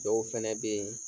Dɔw fana bɛ yen